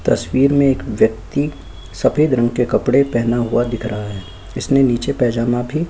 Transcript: तस्वीर में एक व्यक्ति सफेद रंग के कपड़े पहना हुआ दिख रहा है इसमें नीचे पायजामा--